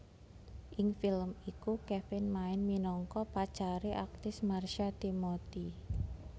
Ing film iku Kevin main minangka pacare aktris Marsha Timothy